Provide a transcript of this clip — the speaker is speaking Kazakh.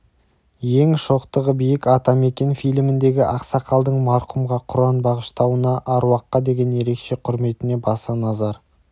ең шоқтығы биік атамекен фильміндегі ақсақалдың марқұмға құран бағыштауына аруаққа деген ерекше құрметіне баса назар